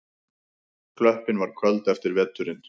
Klöppin var köld eftir veturinn.